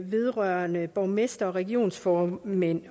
vedrørende borgmestre og regionsformænd